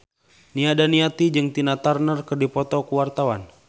Nia Daniati jeung Tina Turner keur dipoto ku wartawan